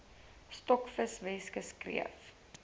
stokvis weskus kreef